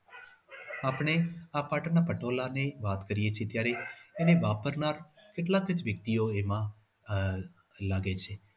આપણે આ પાટણના પટોળા અને એની વાત કરીએ છીએ ત્યારે એને વાપરનાર કેટલાક વ્યક્તિઓ એમાં આહ લાગે છે.